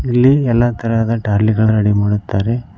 ಇಲ್ಲಿ ಎಲ್ಲಾ ತರಹದ ಟ್ರ್ಯಾಲಿಗಳು ರೆಡಿ ಮಾಡುತ್ತಾರೆ.